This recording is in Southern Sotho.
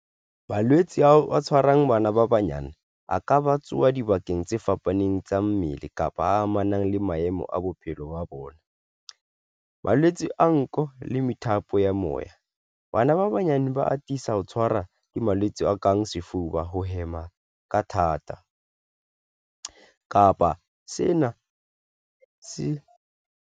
Malwetse ao a tshwarang bana ba banyane a ka ba tsoha dibakeng tse fapaneng tsa mmele kapa a amanang le maemo a bophelo ba bona, malwetse a nko le methapo ya moya. Bana ba banyane ba atisa ho tshwara ke malwetse a kang sefuba, ho hema ka thata, kapa sena se.